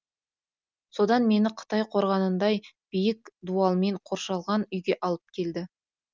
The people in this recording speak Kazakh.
содан мені қытай қорғанындай биік дуалмен қоршалған үйге алып келді